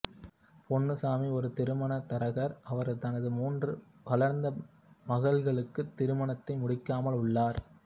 பொன்னுசாமி ஒரு திருமண தரகர் அவர் தனது மூன்று வளர்ந்த மகள்களுக்குத் திருமணத்தை முடிக்காமல் உள்ளார்